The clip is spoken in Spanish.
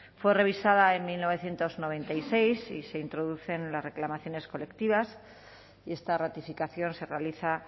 fue revisada en mil novecientos noventa y seis y se introducen las reclamaciones colectivas y esta ratificación se realiza